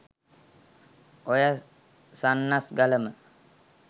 ඔය සන්නස්ගලම